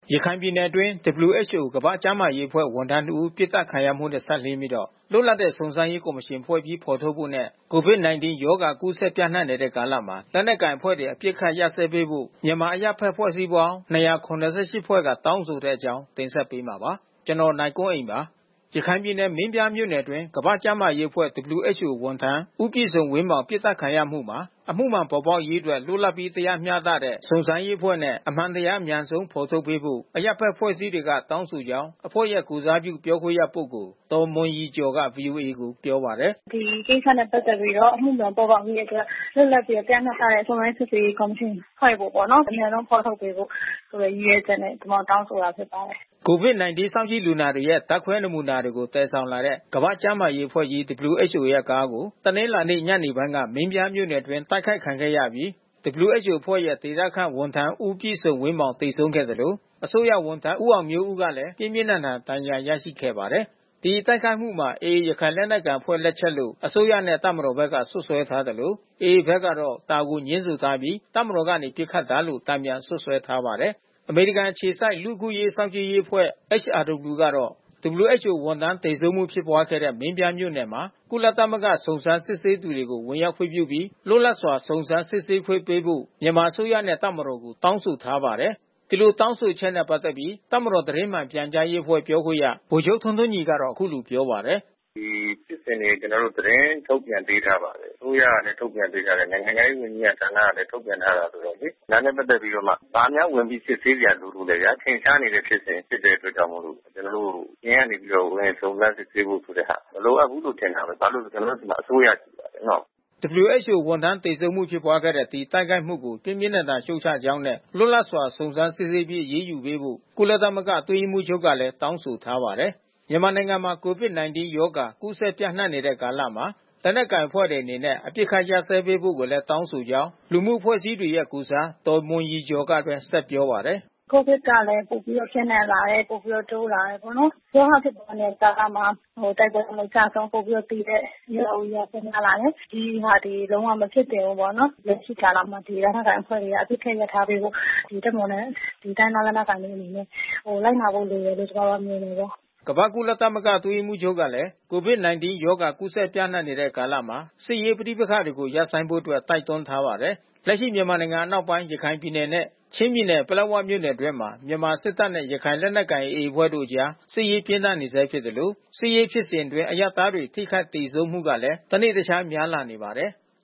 ရခိုင်ပြည်နယ်အတွင်း WHO ကမ္ဘာ့ကျန်းမာရေးအဖွဲ့ဝန်ထမ်း တဦး ပစ်သတ်ခံရမှုနဲ့ စပ်လျှင်းပြီး လွတ်လပ်တဲ့ စုံစမ်းရေးကော်မရှင်ဖွဲ့ပြီးဖေါ်ထုတ်ဖို့နဲ့ COVID-19 ရောဂါကူးစက်ပျံ့နှံ့နေတဲ့ကာလမှာ လက်နက်ကိုင်အဖွဲ့တွေ အပစ် ခတ်ရပ်စဲပေးဖို့ မြန်မာအရပ်ဘက်အဖွဲ့ပေါင်း ၂၇၈ ဖွဲ့က တောင်းဆိုတဲ့အကြောင်းကို ဗွီအိုအေမြန်မာပိုင်းသတင်းထောက် ကိုနိုင်ကွန်းအိန်က တင်ဆက်ပေးမှာပါ။ ရခိုင်ပြည်နယ် မင်းပြားမြို့နယ်အတွင်း ကမ္ဘာ့ကျန်းမာရေးအဖွဲ့ WHO ဝန်ထမ်း ဦးပြည့်စုံဝင်းမောင် ပစ်သတ်ခံရမှုမှာ အမှုမှန်ပေါ်ပေါက်ရေးအတွက် လွတ်လပ်ပြီး တရားမျှတတဲ့ စုံစမ်းရေးအဖွဲ့နဲ့ အမှန်တရား အမြန်ဆုံးဖော်ထုတ်ပေးဖို့ အရပ်ဘက်အဖွဲ့အစည်းတွေကတောင်းဆိုကြောင်းအဖွဲ့ရဲ့ ကိုယ်စားပြု ပြောခွင့်ရပုဂ္ဂိုလ် ဒေါ်မွန်ရည်ကျော်က ဗွီအိုအေကို ပြောပါတယ်။ ပတ်သက်ပြီးတော့ အမှုမှန်ပေါ်ပေါက်ရေးအတွက် လွတ်လတ်တဲ့ တရားမျှတတဲ့ စုံစမ်းစစ်ဆေးရေးကော်မရှင်ဖွဲ့ဖို့ ပေါ့နော်။ အမြန်ဆုံးဖေါ်ထုတ်ပေးဖို့ ရည်ရွယ်ချက်နဲ့ ကျမတို့ တောင်းဆိုတာ COVID-19 စောင့်ကြည့်လူနာတွေရဲ့ ဓာတ်ခွဲနမူနာတွေ သယ်ဆောင်လာတဲ့ ကမ္ဘာ့ကျန်းမာရေး အဖွဲ့ကြီး WHO ကားကို တနလာၤနေ့ ညနေပိုင်းက မင်းပြားမြို့နယ်တွင်း တိုက်ခိုက်ခံခဲ့ရပြီး WHO အဖွဲ့ကြီးရဲ့ ဒေသခန့် ဝန်ထမ်း ဦးပြည့်စုံဝင်းမောင် သေဆုံးခဲ့သလို အစိုးရဝန်ထမ်း ဦးအောင်မျိုးဦးဟာလည်း ပြင်းပြင်းထန်ထန် ဒဏ်ရာ ရရှိခဲ့ပါတယ်။ ဒီတိုက်ခိုက်မှုမှာ AA ရခိုင်လက်နက်ကိုင်အဖွဲ့လက်ချက်လို့ အစိုးရနဲ့ တပ်မတော်ဘက်က စွပ်စွဲထားသလို AA ဘက်ကတော့ ဒါကိုငြင်းဆန်ထားပြီး တပ်မတော်ကနေ ပစ်ခတ်တာလို့ တန်ပြန် စွပ်စွဲထားပါတယ်။ အမေရိကန်အခြေစိုက် လူ့အခွင့်အရေးစောင့်ကြည့်ရေးအဖွဲ့ HRW ကတော့ WHO ဝန်ထမ်းသေဆုံးမှုဖြစ်ပွားခဲ့တဲ့ မင်းပြားမြို့နယ်မှာ ကုလသမဂ္ဂ စုံစမ်းစစ်ဆေးသူတွေကို ဝင်ရောက်ခွင့်ပြုပြီး လွတ်လပ်စွာ စုံစမ်းစစ်ဆေးခွင့်ပေးဖို့ မြန်မာအစိုးရနဲ့ တပ်မတော်ကို တောင်းဆိုထားပါတယ်။ ဒီလိုတောင်းဆိုချက်နဲ့ ပတ်သက်ပြီး တပ်မတော်သတင်းမှန်ပြန်ကြားရေးအဖွဲ့ ပြောခွင့်ရဗိုလ်ချုပ်ထွန်းထွန်းညီက အခုလိုပြောပါတယ်။ ကျနော်တို့ သတင်းထုတ်ပြန်ပေးထားပါတယ်။ အစိုးရကလည်း ထုတ်ပြန်ပေးထားတယ်။ နိုင်ငံခြားရေး ဝန်ကြီးဌာနကလည်း ထုတ်ပြန်ထားတယ်ဆိုတော့လေ။ ဒါနဲ့ပက်သက်ပြီးတော့မှ ဘာများ ဝင်ပြီးစစ်ဆေးစရာလိုလို့လဲဗျာ။ ထင်ရှားနေတဲ့ဖြစ်စဉ်အတွက်ကြောင့်မို့လို့ ကျနော်တို့ အပြင်ကနေ ဝင်စုံစမ်းစစ်ဆေးဖို့ဆိုတဲ့ဟာ မလိုအပ်ဘူးလို့ ထင်တယ်။ ဘာလို့ဆိုတော့ ကျနော်တို့ဆီမှာ WHO ဝန်ထမ်း သေဆုံးမှုဖြစ်ပွားခဲ့တဲ့ ဒီတိုက်ခိုက်မှုကို ပြင်းပြင်းထန်ထန် ရှုတ်ချကြောင်းနဲ့ လွတ်လပ်စွာ စုံစမ်းစစ်ဆေးပြီး အရေးယူပေးဖို့ ကုလသမဂ္ဂ အတွင်းရေးမှူးချုပ်ကလည်း တောင်းဆိုထားပါတယ်။ မြန်မာနိုင်ငံမှာ COVID-19 ရောဂါကူးစက်ပျံ့နှံ့နေတဲ့ကာလမှာ လက်နက်ကိုင်အဖွဲ့တွေ အနေနဲ့ အပစ်ခတ်ရပ်စဲပေးဖို့ကိုလည်း တောင်းဆိုကြောင်း လူမှုအဖွဲ့အစည်းတွေရဲ့ကိုယ်စား ဒေါ်မွန်ရည်ကျော်ကဆက်ပြောပါတယ်။ ကလည်း တနေ့တခြားပျံ့နှံ့လာတယ်။ ပိုပြီးတော့ တိုးလာတယ်ပေါ့နော်။ ရောဂါဖြစ်နေတဲ့ကာလမှာ တိုက်ပွဲတွေနဲ့ အကျဆုံးပိုပြီးတော့ သေတဲ့ရွာတွေရော များလာတယ်။ ဒီဟာတွေ လုံးဝမဖြစ်သင့်ဘူးပေါ့နော်။ လက်ရှိကာလမှာ ဒီလက်နက်ကိုင်အဖွဲ့တွေက အပစ်ခတ်ရပ်ထားပေးဖို့ တပ်မတော်နဲ့ တိုင်းရင်းသားလက်နက်ကိုင်အဖွဲ့တွေ လိုက်နာဖို့လို တယ်လို့ ကျမတို့က ကုလသမဂ္ဂ အတွင်းရေးမှူးချုပ်ကလည်း COVID-19 ရောဂါကူးစက်ပျံ့နှံ့နေတဲ့ကာလမှာ စစ်ရေးပဋိပက္ခတွေ ရပ်ဆိုင်းဖို့အတွက် တိုက်တွန်းထားပါတယ်။ လက်ရှိမြန်မာနိုင်ငံ အနောက်ပိုင်း ရခိုင်ပြည်နယ်နဲ့ ချင်းပြည်နယ် ပလက်ဝမြို့နယ်အတွင်းမှာ မြန်မာစစ်တပ်နဲ့ ရခိုင်လက်နက်ကိုင် AA အဖွဲ့တို့အကြား စစ်ရေးပြင်းထန်နေဆဲဖြစ်သလို စစ်ရေးဖြစ်စဉ်အတွင်း အရပ်သားတွေ ထိခိုက် သေဆုံးမှုကလည်း တနေ့တခြား များလာနေပါတယ်။